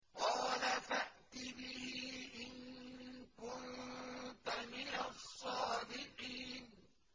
قَالَ فَأْتِ بِهِ إِن كُنتَ مِنَ الصَّادِقِينَ